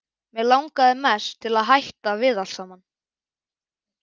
Mig langaði mest til að hætta við allt saman.